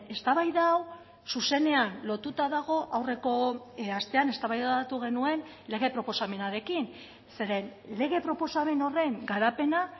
eztabaida hau zuzenean lotuta dago aurreko astean eztabaidatu genuen lege proposamenarekin zeren lege proposamen horren garapena